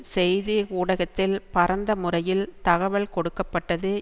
செய்தி ஊடகத்தில் பரந்த முறையில் தகவல் கொடுக்க பட்டது